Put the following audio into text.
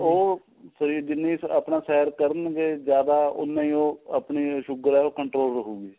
ਉਹ ਜਿੰਨੀ ਆਪਣਾ ਸੈਰ ਕਰਨ ਗਏ ਜਿਆਦਾ ਉਨਾ ਹੀ ਉਹ ਆਪਣੀ sugar ਏ ਉਹ control ਰਹੂਗੀ